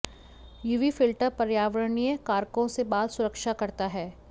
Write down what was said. UV filter पर्यावरणीय कारकों से बाल सुरक्षा करता है